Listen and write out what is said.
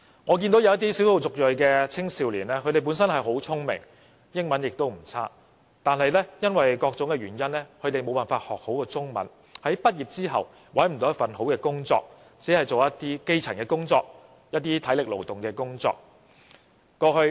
我曾見過一些少數族裔青少年，他們本身很聰明，英文也不差，但因為各種原因沒有學好中文，所以在畢業後無法找到一份好工作，只能從事一些基層或體力勞動的工作。